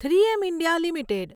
three M India limited